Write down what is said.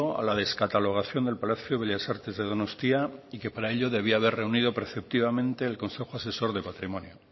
a la descatalogación del palacio bellas artes de donostia y que para ello debía haber reunido preceptivamente el consejo asesor de patrimonio